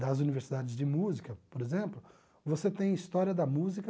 Das universidades de música, por exemplo, você tem História da Música,